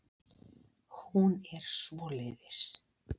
Hún er svoleiðis.